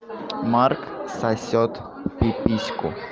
марк сосёт пипиську